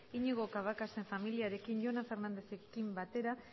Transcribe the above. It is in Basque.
iñigo cabacasen familiarekin jonan fernandezekin batera